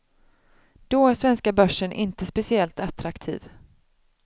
Då är svenska börsen inte speciellt attraktiv.